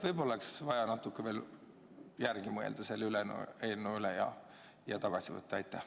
Võib-olla oleks vaja veel natuke selle eelnõu üle järele mõelda ja see praegu tagasi võtta?